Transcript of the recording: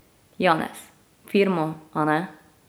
Janez: 'Firmo, a ne.